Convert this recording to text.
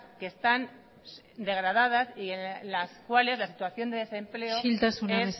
que están degradadas y en las cuales la situación de desempleo es peor isiltasuna